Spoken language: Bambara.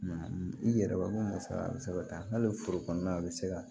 i yɛrɛ b'a dɔn ko musa bɛ se ka taa hali foro kɔnɔna na a bɛ se ka